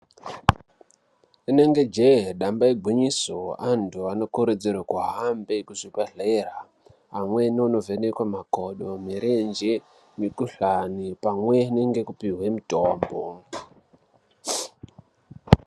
Inenge jee damba igwinyiso antu anokurudzirwa kuhambe kuzvibhehleya amweni onovhenekwa makodo, nomurenje , mukhuhlani pamwe ngekupuwa mitombo.